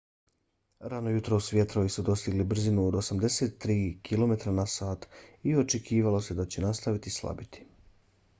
rano jutros vjetrovi su dostigli brzinu od 83 km/h i očekivalo se da će nastaviti slabiti